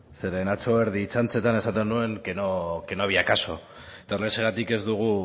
zeren atzo erdi txantxetan esaten nuen que no había caso eta horrexegatik ez dugu